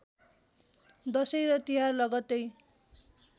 दशैँ र तिहार लगतै